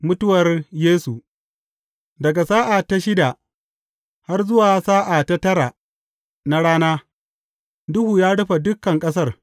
Mutuwar Yesu Daga sa’a ta shida har zuwa sa’a ta tara na rana, duhu ya rufe dukan ƙasar.